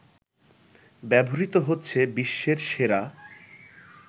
ব্যবহৃত হচ্ছে বিশ্বের সেরা